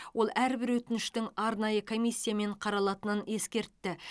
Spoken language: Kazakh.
ол әрбір өтініштің арнайы комиссиямен қаралатынын ескертті